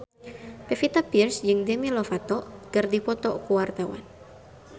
Pevita Pearce jeung Demi Lovato keur dipoto ku wartawan